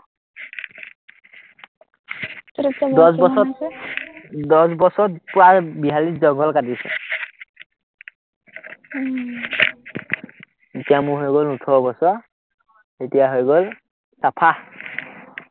দশ বছৰত দশ বছৰত পুৰা বিহালীয়ে জংঘল কাটিছে। এতিয়া মোৰ হৈ গল ওঠৰ বছৰ, এতিয়া হৈ গল চাফা।